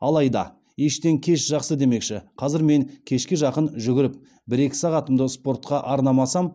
алайда ештен кеш жақсы демекші қазір мен кешке жақын жүгіріп бір екі сағатымды спортқа арнамасам